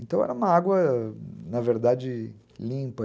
Então era uma água, na verdade, limpa.